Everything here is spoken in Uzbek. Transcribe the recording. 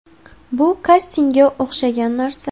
Bu kastingga o‘xshagan narsa”.